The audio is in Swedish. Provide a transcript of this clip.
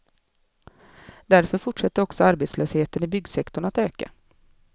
Därför fortsätter också arbetslösheten i byggsektorn att öka.